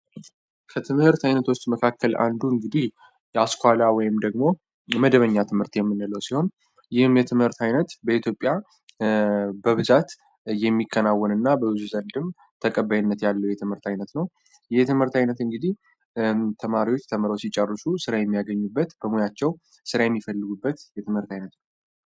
ከትምህርት ዓይነቶች መካከል አንዱ እንግዲህ የአስኳላ ወይም ደግሞ የመደበኛ ትምህርት የምንለው ሲሆን ይህም የትምህርት ዓይነት በኢትዮጵያ በብዛት የሚከናወን እና በብዙ ዘንድም ተቀባይነት ያለው የትምህርት ዓይነት ነው የትምህርት ዓይነት እንግዲህ ተማሪዎች ተመረቀው ሲጫርሹ ስራ የሚያገኙበት በሞያቸው ሥራ የሚፈልጉበት የትምህርት ዓይነት ነው።